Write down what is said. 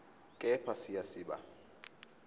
kepha siya siba